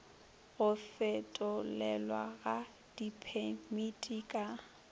go fetolelwa ga diphemiti ka